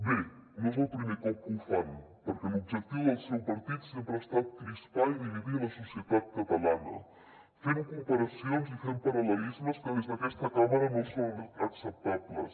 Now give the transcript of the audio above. bé no és el primer cop que ho fan perquè l’objectiu del seu partit sempre ha estat crispar i dividir la societat catalana fent comparacions i fent paral·lelismes que des d’aquesta cambra no són acceptables